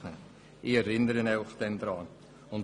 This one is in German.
Ich werde Sie dann daran erinnern.